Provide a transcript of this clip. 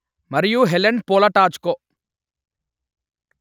మరియు Helen Polatajko